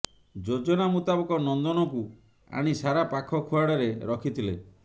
ଯୋଜନା ମୁତାବକ ନନ୍ଦନକୁ ଆଣି ସାରା ପାଖ ଖୁଆଡ଼ରେ ରଖିଥିଲେ